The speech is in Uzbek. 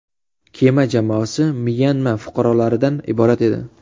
Kema jamoasi Myanma fuqarolaridan iborat edi.